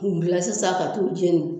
Mun bila sisan ka t'u jeni